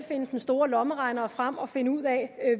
finde den store lommeregner frem og finde ud af